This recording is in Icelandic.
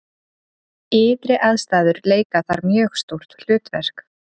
Ytri aðstæður leika þar mjög stórt hlutverk.